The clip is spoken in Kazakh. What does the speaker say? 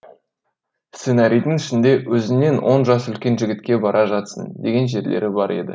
сценарийдің ішінде өзіңнен он жас үлкен жігітке бара жатсың деген жерлері бар еді